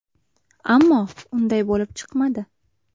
Ammo unday bo‘lib chiqmadi.